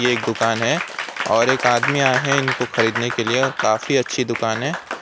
एक दुकान है और एक आदमी आए हैं इनको खरीदने के लिए और काफी अच्छी दुकान है।